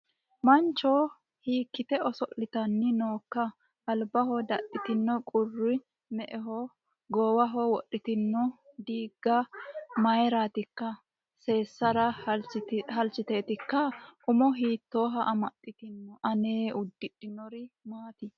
mancho hiikkite oso'litanni nooikka albaho dadhitinohu qurru me''ho goowaho wodhitinoti diiga mayratikka seessara halchiteetikka umo hiitooha amaxxitino aana uddidhinori maaati